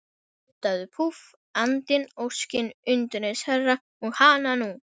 Nuddaðu, púff, andinn, óskin, undireins herra, og hananú!